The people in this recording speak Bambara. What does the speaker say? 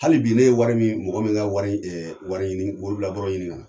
Hali bi ne ye wari min , mɔgɔ min ka wari wari ɲini waribila bɔrɔ ɲini ka na